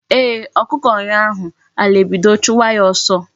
Eeh, okuku nyuo ahu, ala ebido chuwa ya oso